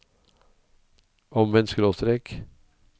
omvendt skråstrek